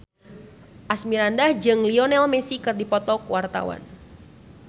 Asmirandah jeung Lionel Messi keur dipoto ku wartawan